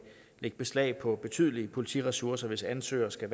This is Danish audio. lægge beslag på betydelige politiressourcer hvis ansøgere skal